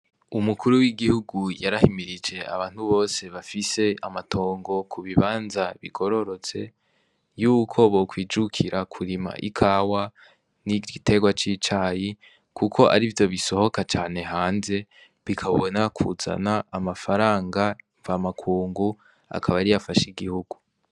Umukuru wigihugu yarahimirije abantu bose bafise amatongo kubibanza bigorotse, yuko bokwijukira kurima ikawa n'igitegwa cicayi kuko arivyo bisohoka cane hanze bikabona kuzana amafaranga mvamakungu akaba ariyo afasha igihugu.